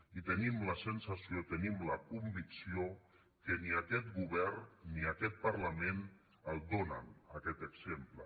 i tenim la sensació tenim la convicció que ni aquest govern ni aquest parlament el donen aquest exemple